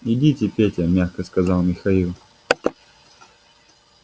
идите петя мягко сказал михаил